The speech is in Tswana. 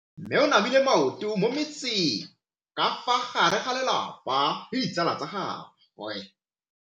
Mme o namile maoto mo mmetseng ka fa gare ga lelapa le ditsala tsa gagwe.